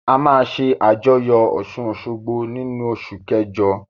A máa ṣé àjọyọ̀ ọ̀ṣun-òṣogbo nínu oṣù